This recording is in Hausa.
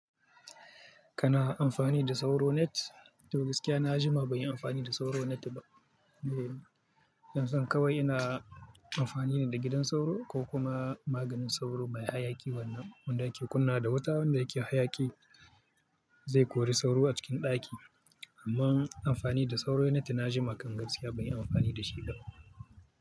Kana amfani da sauro net? Gaskiya na jima ban yi amfani da sauro net ba. Dan zan kawai ina amfani ne da gidan sauro ko kuma maganin sauro mai hayaki wanda ake kunnawa da wuta wanda yake hayaki zai kori sauro a cikin ɗaki. Amma amfani da sauro net na jima kangaskiya ban yi amfani da shi ba.